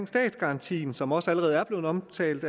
statsgarantien som også allerede er blevet omtalt